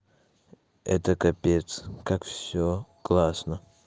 это капец как всё классно